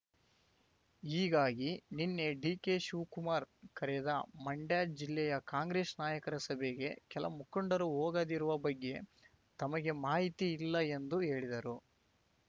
ಹೀಗಾಗಿ ನಿನ್ನೆ ಡಿಕೆ ಶಿವಕುಮಾರ್ ಕರೆದ ಮಂಡ್ಯ ಜಿಲ್ಲೆಯ ಕಾಂಗ್ರೆಸ್ ನಾಯಕರ ಸಭೆಗೆ ಕೆಲಮುಖಂಡರು ಹೋಗದಿರುವ ಬಗ್ಗೆ ತಮಗೆ ಮಾಹಿತಿ ಇಲ್ಲ ಎಂದು ಹೇಳಿದರು